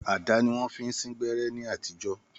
Àdá ni wọ́n fi ń sín gbẹ́rẹ́ ní àtijọ́